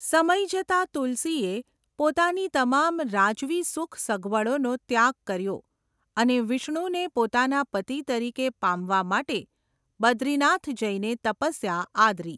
સમય જતાં તુલસીએ પોતાની તમામ રાજવી સુખ સગવડોનો ત્યાગ કર્યો અને વિષ્ણુને પોતાના પતિ તરીકે પામવા માટે બદ્રીનાથ જઈને તપસ્યા આદરી.